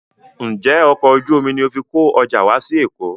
Ǹjẹ́ ọkọ̀ ojú omi ni o fi kó ọjà wá sí Èkó?